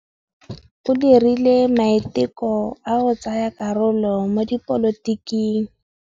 O dirile maitekô a go tsaya karolo mo dipolotiking.